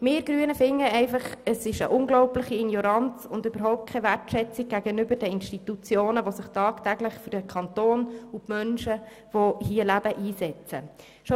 Wir Grünen finden, dies sei eine unglaubliche Ignoranz und zeuge von keinerlei Wertschätzung gegenüber den sich tagtäglich für den Kanton und die hier lebenden Menschen einsetzenden Institutionen.